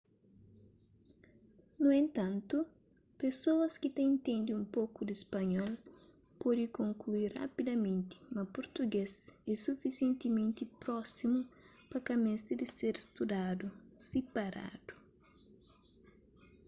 nu entantu pesoas ki ta intende un poku di spanhol pode konklui rapidamenti ma português é sufisientementi prósimu pa ka meste di ser studadu siparadu